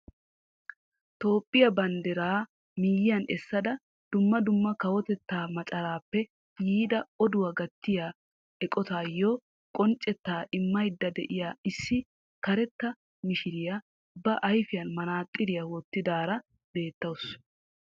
Toophphiyaa bandiraa miyiyaan esada dumma dumma kawotettaa macaraappe yiida oduwa gattiyaa eqotatuuyoo qonccettaa immaydda de'iya issi karetta mishshiriyaa ba ayfiyankka maxaaxiriyaa wottidaara beettawusu.